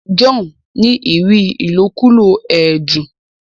John ní rí ilokulo ẹdun.